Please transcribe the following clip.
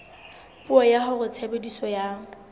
puo ya hore tshebediso ya